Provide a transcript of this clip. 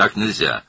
Belə olmaz.